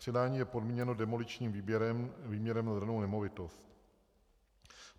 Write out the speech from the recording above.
Předání je podmíněno demoličním výměrem pro danou nemovitost.